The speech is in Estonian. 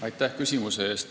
Aitäh küsimuse eest!